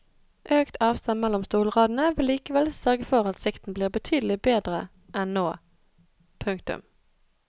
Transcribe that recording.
Økt avstand mellom stolradene vil likevel sørge for at sikten blir betydelig bedre enn nå. punktum